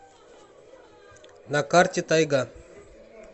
на карте тайга